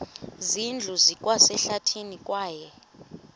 zindlu zikwasehlathini kwaye